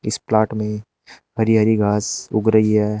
इस प्लॉट में हरी हरी घास उग रही है।